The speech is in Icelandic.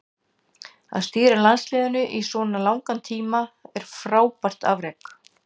Að stýra landsliðinu í svo langan tíma er frábært afrek.